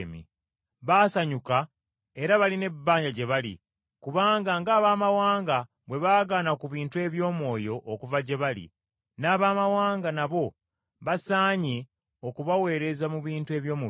Baasanyuka era balina ebbanja gye bali, kubanga ng’Abaamawanga bwe baagabana ku bintu eby’omwoyo okuva gye bali, n’Abaamawanga nabo basaanye okubaweereza mu bintu eby’omubiri.